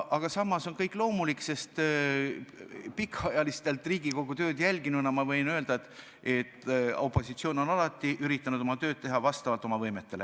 Aga samas on see kõik loomulik, sest pikaajaliselt Riigikogu tööd jälginuna võin ma öelda, et opositsioon on alati üritanud oma tööd teha vastavalt oma võimetele.